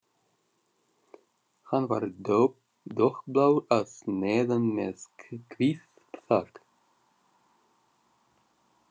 Hann var dökkblár að neðan með hvítt þak.